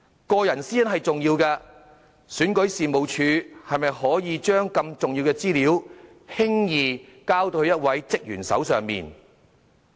個人私隱是重要的，選舉事務處是否可以把如此重要的資料，輕易交到一位職員手上呢？